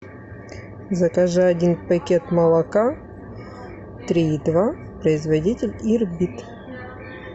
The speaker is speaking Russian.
закажи один пакет молока три и два производитель ирбит